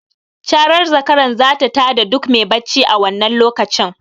Carar zakaran zata ta da duk me bacci a wannan lokacin.